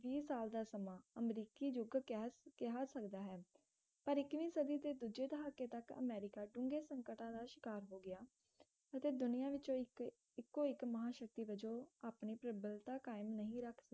ਵੀਹ ਸਾਲ ਦਾ ਸਮਾਂ ਅਮਰੀਕੀ ਯੁੱਗ ਕਿਹਾ ਕਿਹਾ ਸਕਦਾ ਹੈ ਪਰ ਇਕੀਵੀਂ ਸਦੀ ਦੇ ਦੂਜੇ ਦਹਾਕੇ ਤੱਕ ਅਮਰੀਕਾ ਢੁੰਗੇ ਸੰਕਟਾਂ ਦਾ ਸ਼ਿਕਾਰ ਹੋ ਗਿਆ ਅਤੇ ਦੁਨਿਆ ਵਿਚ ਇਕ ਇਕੋ ਇਕ ਮਹਾਂਸ਼ਕਤੀ ਵਜੋਂ ਆਪਣੀ ਪ੍ਰਬਲਬਤਾ ਕਾਇਮ ਨਹੀਂ ਰੱਖ